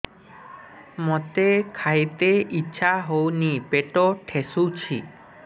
ମୋତେ ଖାଇତେ ଇଚ୍ଛା ହଉନି ପେଟ ଠେସୁଛି